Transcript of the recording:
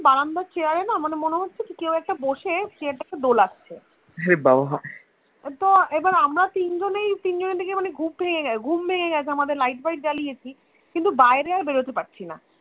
বারান্দার chair এ না মানে মনে হচ্ছে কি কেউ একটা বসে chair তাকে দোলাচ্ছে তো এবার আমরা তিনজনেই তিনজনের দিকে মানে ঘুম ভেঙে গেছে আমাদের Light fight জলিয়েছি কিন্তু বাইরে আর বেরোতে পারছিনা